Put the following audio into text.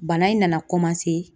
Bana in nana